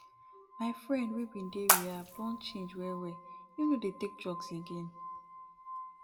my friend wey bin dey rehab don change well well im no dey take drugs again